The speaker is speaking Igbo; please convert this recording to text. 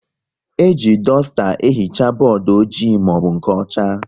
E ji dusta ehicha bọọdụ ojii maọbụ nke ọcha